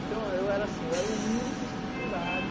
Então, eu era assim, o único escriturário